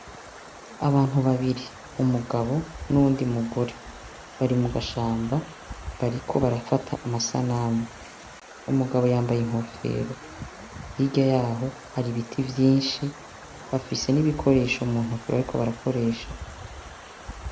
Abantu babiri, umugabo n'uwundi mugore, bari mu gashamba bariko barafata amasanamu, umugabo yambaye inkofero, hirya yaho hari ibiti vyinshi, bafise n'ibikoresha muntoke bariko barakoresha.